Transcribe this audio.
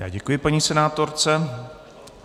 Já děkuji paní senátorce.